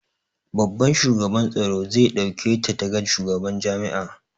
Babban shugaban tsaro zai ɗauke ta ta ga shugaban jami'a